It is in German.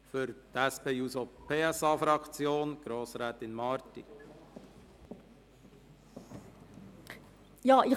Für die SP-JUSO-PSA-Fraktion hat Grossrätin Marti das Wort.